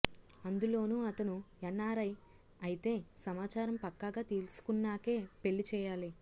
అందులోనూ అతను ఎన్ఆర్ఐ అయితే సమాచారం పక్కాగా తెలుసుకున్నాకే పెళ్లి చేయాలి